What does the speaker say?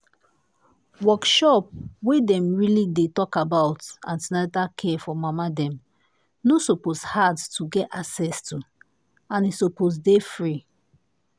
workshop wey dem really dey talk about an ten atal care for mama dem no suppose hard to get access to and e suppose dey free.